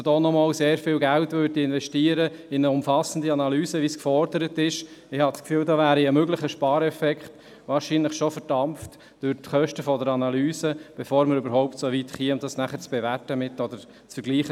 Wenn man nochmals sehr viel Geld in eine umfassende Analyse investiert, wie es gefordert worden ist, wäre ein möglicher Spareffekt wohl schon durch die Kosten der Analyse verdampft, bevor wir überhaupt dazu kämen, die Angebote miteinander zu vergleichen.